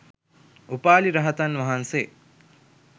උපාලි රහතන් වහන්සේ